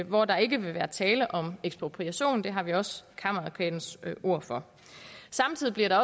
hvor der ikke vil være tale om ekspropriation og det har vi også kammeradvokatens ord for samtidig bliver der